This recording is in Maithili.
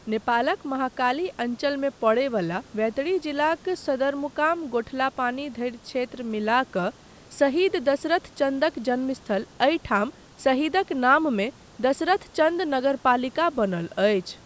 नेपालक महाकाली अञ्चलमे पड़य बला बैतडी जिलाक सदरमुकाम गोठलापानी धरि क्षेत्र मिला कऽ शहीद दशरथ चन्दक जन्मस्थल एहि ठाम सहीदक नाममे दसरथचन्द नगरपालिका बनल अछि।